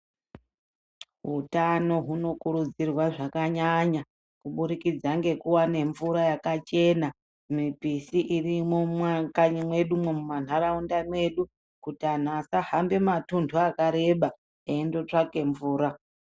Utano hunokurudzirwa zvakanyanya kubudikidza ngekuwane mvura yakachena mupisi irimwo mwakanyi mwedumwo mumantaraunda mwedu kuti antu asahambe matuntu akareba eindotevake mvura.